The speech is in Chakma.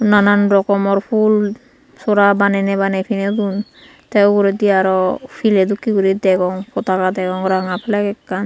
nanan rokomor phul sora baneney baney piney don tay uguredi aro pilay dokkey guri degong potaka degong ranga fleg ekkan.